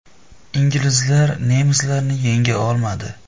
Inglizlar nemislarni yenga olmadi.